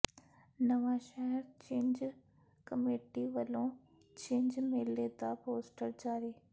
ਨਵਾਂਸ਼ਹਿਰ ਛਿੰਝ ਕਮੇਟੀ ਵੱਲੋਂ ਛਿੰਝ ਮੇਲੇ ਦਾ ਪੋਸਟਰ ਜਾਰੀ